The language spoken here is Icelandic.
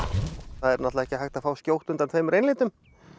það er náttúrulega ekki hægt að fá skjótt undan tveimur einlitum